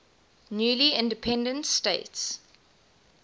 newly independent states